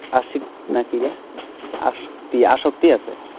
আসিক না কি, আসিক, আসক্তি আছে।